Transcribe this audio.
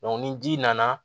ni ji nana